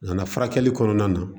Nana furakɛli kɔnɔna na